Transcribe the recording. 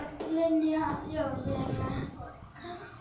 Linja, já ég man það.